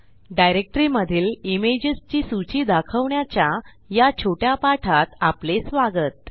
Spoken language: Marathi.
डायरेक्टरी मधील imagesची सूची दाखवण्याच्या या छोट्या पाठात आपले स्वागत